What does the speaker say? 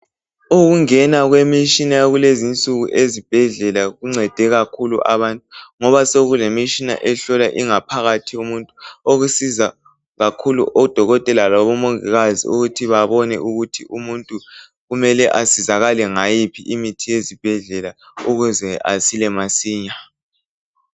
ukungena kwemitshina yakulezi insuku ezibhedlela kuncede kakhulu abantu ngoba sekulemitshina ehlola ingaphakathi yomuntu okusiza kakhulu odokotela labo mongikazi ukuthi babone ukuthi umuntuu kumele asizakale ngayiphi imithi yezibedlela ukuze asile masinya